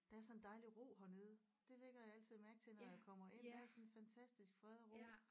Der er sådan en dejlig ro hernede det lægger jeg altid mærke til når jeg kommer ind der er sådan en fantastisk fred og ro